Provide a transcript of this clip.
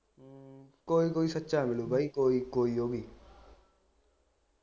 ਕੋਈ ਕੋਈ ਸੱਚਾ ਮਿਲੂ ਬਈ ਕੋਈ ਕੋਈ ਓਵੀ